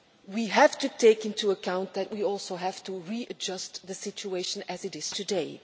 We have to take into account that we also have to readjust the situation as it is today.